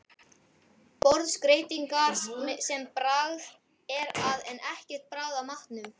Borðskreytingar sem bragð er að en ekkert bragð af matnum.